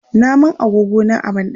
Na man agogona a banɗaki.